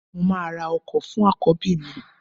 Mo máa ra ọkọ fún àkọ́bí mi